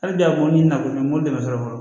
Hali bi a ko ɲini na kɔni mobili bɛ sɔrɔ fɔlɔ